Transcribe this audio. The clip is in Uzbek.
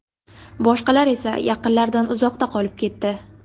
Boshqalar esa yaqinlaridan uzoqda qolib ketdi.